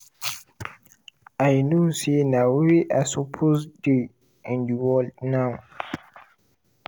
"i know say na where i supposed dey in di world now.